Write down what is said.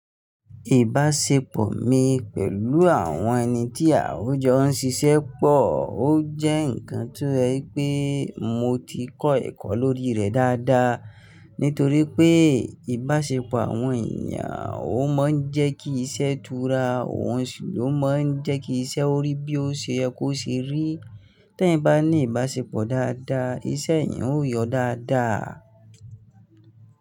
Ìbáṣepọ̀ mi pẹ̀lú àwọn ẹni tí àun jọ ń ṣiṣẹ́ pọ̀ ó jẹ́ ǹkan tó je wipe mo ti kọ́ ẹ̀kọ́ lórí rẹ̀ dáadáa. Nítorí pé ìbáṣepọ̀ àwọn èèyàn ó máa ń jẹ́ kí iṣẹ́ tura, òun sì ló máa ń jẹ́ kí iṣẹ́ orí bí ó ṣe yẹ kó ṣe rí. Ti eniyan bá ní ìbáṣepọ̀ dáadáa, iṣẹ́ èèyàn ó yọ dáadáa.